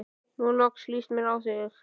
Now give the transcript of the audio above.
Nú loksins líst mér á þig.